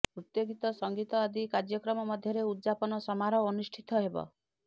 ନୃତ୍ୟ ଗୀତ ସଙ୍ଗୀତ ଆଦି କାର୍ଯ୍ୟକ୍ରମ ମଧ୍ୟରେ ଉଦଯାପନ ସମାରୋହ ଅନୁଷ୍ଠିତ ହେବ